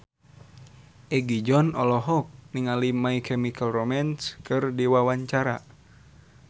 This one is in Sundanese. Egi John olohok ningali My Chemical Romance keur diwawancara